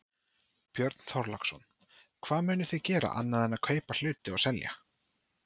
Björn Þorláksson: Hvað munið þið gera annað en að kaupa hluti og selja?